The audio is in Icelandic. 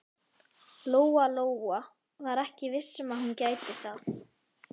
Lóa-Lóa var ekki viss um að hún gæti það.